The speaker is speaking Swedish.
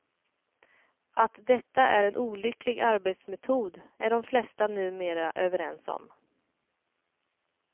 Att detta är en olycklig arbetsmetod är de flesta numera överens om.